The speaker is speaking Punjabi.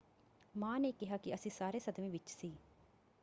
ਮਾਂ ਨੇ ਕਿਹਾ ਕਿ ਅਸੀਂ ਸਾਰੇ ਸਦਮੇ ਵਿੱਚ ਸੀ।